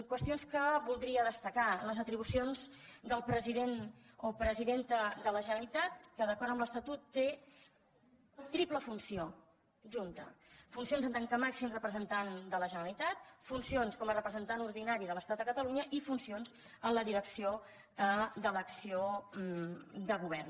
qüestions que voldria destacar les atribucions del president o presidenta de la generalitat que d’acord amb l’estatut té triple funció junta funcions en tant que màxim representant de la generalitat funcions com a representant ordinari de l’estat a catalunya i funcions en la direcció de l’acció de govern